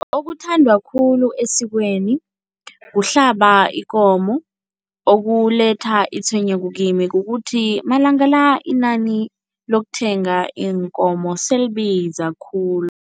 Okuthandwa khulu esikweni kuhlaba ikomo. Okuletha itshwenyeko kimi kukuthi malanga la inani lokuthenga iinkomo selibiza khulu.